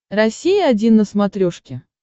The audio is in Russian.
россия один на смотрешке